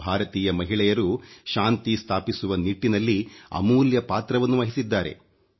ಭಾರತೀಯ ಮಹಿಳೆಯರು ಶಾಂತಿ ಸ್ಥಾಪಿಸುವ ನಿಟ್ಟಿನಲ್ಲಿ ಅಮೂಲ್ಯ ಪಾತ್ರವನ್ನು ವಹಿಸಿದ್ದಾರೆ